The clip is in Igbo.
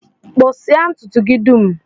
Kpụsịa ntụtụ gị dum!